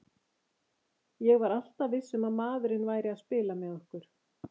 Ég var alltaf viss um að maðurinn væri að spila með okkur.